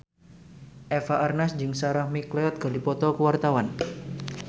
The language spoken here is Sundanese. Eva Arnaz jeung Sarah McLeod keur dipoto ku wartawan